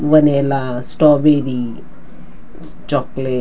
vanilla strawberry chocolate --